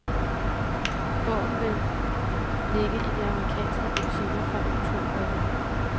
Bogen vil ligge i de amerikanske butikker fra oktober i år.